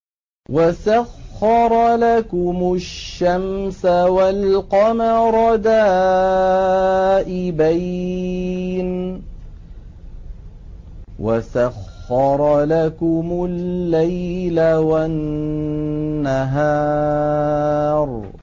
وَسَخَّرَ لَكُمُ الشَّمْسَ وَالْقَمَرَ دَائِبَيْنِ ۖ وَسَخَّرَ لَكُمُ اللَّيْلَ وَالنَّهَارَ